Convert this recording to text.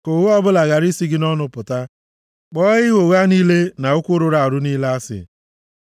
Ka ụgha ọbụla ghara isi gị nʼọnụ pụta; kpọọ ịgha ụgha niile na okwu rụrụ arụ niile asị.